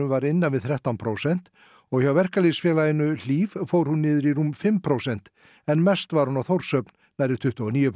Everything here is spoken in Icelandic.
var innan við þrettán prósent og hjá Verkalýðsfélaginu Hlíf fór hún niður í rúm fimm prósent en mest var á Þórshöfn nærri tuttugu og níu